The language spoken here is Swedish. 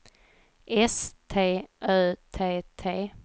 S T Ö T T